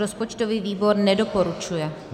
Rozpočtový výbor nedoporučuje.